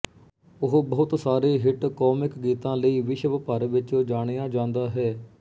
ਉਹ ਬਹੁਤ ਸਾਰੇ ਹਿੱਟ ਕੌਮਿਕ ਗੀਤਾਂ ਲਈ ਵਿਸ਼ਵਭਰ ਵਿੱਚ ਜਾਣਿਆ ਜਾਂਦਾ ਹੈ